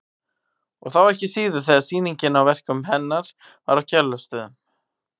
Og þá ekki síður þegar sýningin á verkum hennar var á Kjarvalsstöðum.